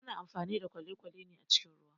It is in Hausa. Ana amfani da kwalekwale ne a cikin ruwa